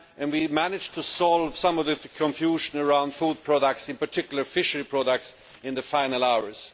We managed to clear up some of the confusion around food products, in particular fishery products, in the final hours.